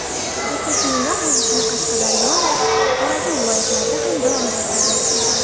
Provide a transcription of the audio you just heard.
O‘quv seminar o‘z ishini Qashqadaryo va Xorazm viloyatlarida ham davom ettiradi.